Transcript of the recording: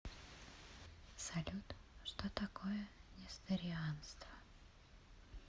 салют что такое несторианство